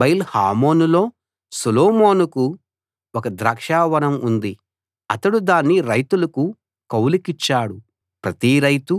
బయల్ హామోనులో సొలొమోనుకు ఒక ద్రాక్షావనం ఉంది అతడు దాన్ని రైతులకు కౌలుకిచ్చాడు ప్రతి రైతూ